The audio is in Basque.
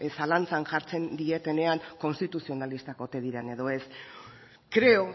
zalantzan jartzen dietenean konstituzionalistak ote diren edo ez creo